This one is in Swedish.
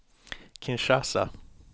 Kinshasa